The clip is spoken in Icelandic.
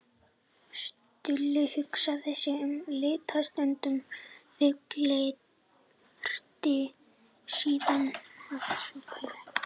Stulli hugsaði sig um litla stund og fullyrti síðan að svo væri ekki.